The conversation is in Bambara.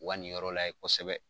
Wa ni yɔrɔ lajɛ kosɛbɛ.